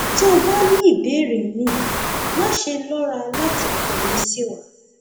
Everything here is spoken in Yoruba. tó o bá ní ìbéèrè míì máṣe lọra láti kọwé sí wa